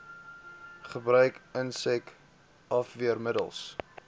gebruik insek afweermiddels